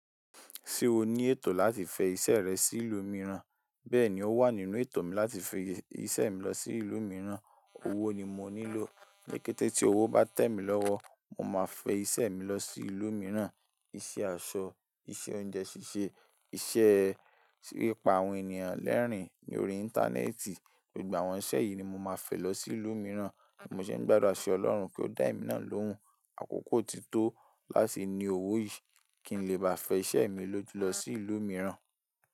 Se oní eto láti fi ise rẹ sí ìlú mìíràn? Bẹ́ẹ̀ni ó wà nínú ètò mi láti fi iṣẹ́ mi lọ sí ìlú mìíràn, owó ni mo nílò. Lékété tí owó bá tẹ̀ mí lọ́wọ́, mo máa fẹ iṣẹ́ mi lọ sí ìlú mìíràn. Ise aso, iṣẹ oúnjẹ ṣíṣe, ise e pípa àwọn ènìyàn lẹ́rìn-ín ní orí Íńtánẹ́ẹ̀tì. Gbogbo àwọn iṣẹ́ yìí ni mo máa fẹ lọ sí ìlú mìíràn. Mo sì ń gbádùra ṣi Ọlọ́hun kí ó dá èmi náà lóhùn, àkókò ti tó láti ní owó yìí kí n lè bá fẹ iṣẹ́ mi lójú lọ sí ìlú mìíràn.